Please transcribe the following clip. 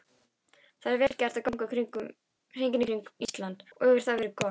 Það er vel gerlegt að ganga hringinn í kringum Ísland og hefur það verið gert.